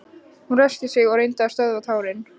Hún ræskti sig og reyndi að stöðva tárin.